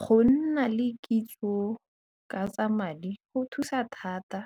Go nna le kitso ka tsa madi go thusa thata